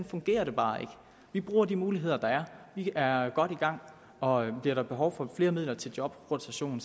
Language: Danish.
fungerer det bare ikke vi bruger de muligheder der er vi er godt i gang og bliver der behov for flere midler til jobrotation